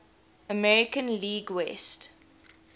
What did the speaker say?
american league west